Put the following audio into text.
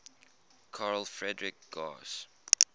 carl friedrich gauss